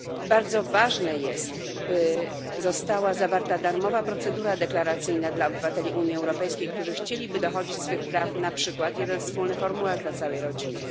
Bardzo ważne jest, by została zawarta darmowa procedura deklaracyjna dla obywateli Unii Europejskiej, którzy chcieliby dochodzić swych praw, na przykład jeden wspólny formularz dla całej rodziny.